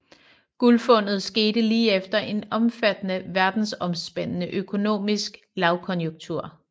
Guldfundet skete lige efter en omfattende verdensomspændende økonomisk lavkonjunktur